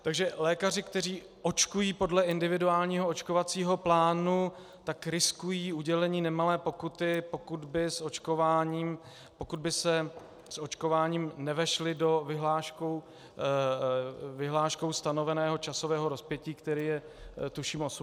Takže lékaři, kteří očkují podle individuálního očkovacího plánu, tak riskují udělení nemalé pokuty, pokud by se s očkováním nevešli do vyhláškou stanoveného časového rozpětí, které je, tuším, 18 měsíců.